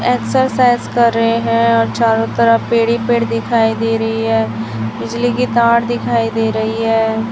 Exercise कर रहे हैं और चारों तरफ पेड़ ही पेड़ दिखाई दे रही है बिजली की तार दिखाई दे रही है।